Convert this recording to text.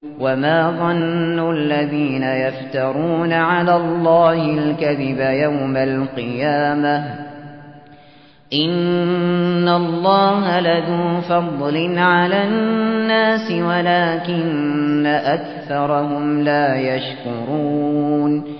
وَمَا ظَنُّ الَّذِينَ يَفْتَرُونَ عَلَى اللَّهِ الْكَذِبَ يَوْمَ الْقِيَامَةِ ۗ إِنَّ اللَّهَ لَذُو فَضْلٍ عَلَى النَّاسِ وَلَٰكِنَّ أَكْثَرَهُمْ لَا يَشْكُرُونَ